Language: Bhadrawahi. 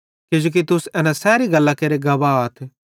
किजोकि तुस एना सैरी गल्लां केरे गवाहथ